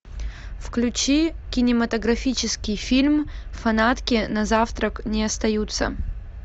включи кинематографический фильм фанатки на завтрак не остаются